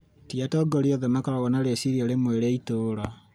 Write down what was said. ti atongoria othe makoragwo na rĩciria rĩmwe rĩa ituura